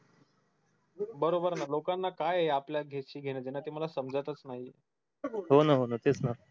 बरोबर ना लोकांना काय आपल्या घेण देण ते मला समजतच नाही हो ना हो ना तेच ना